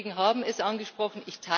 Viele Kollegen haben es angesprochen.